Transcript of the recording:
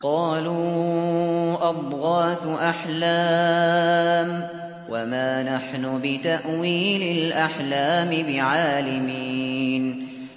قَالُوا أَضْغَاثُ أَحْلَامٍ ۖ وَمَا نَحْنُ بِتَأْوِيلِ الْأَحْلَامِ بِعَالِمِينَ